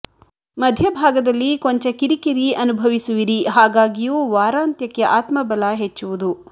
ಮಧ್ಯಭಾಗದಲ್ಲಿ ಕೊಂಚ ಕಿರಿಕಿರಿ ಅನುಭವಿಸುವರಿ ಹಾಗಾಗಿಯೂ ವಾರಂತ್ಯಕ್ಕೆ ಆತ್ಮ ಬಲ ಹೆಚ್ಚುವುದು